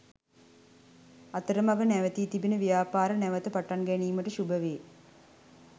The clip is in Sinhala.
අතරමග නැවතී තිබෙන ව්‍යාපාර නැවත පටන් ගැනීමට ශුභ වේ